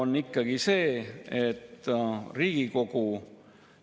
Ja võib-olla mingis mõttes see võtabki kogu selle probleemi kokku: väga palju segadust.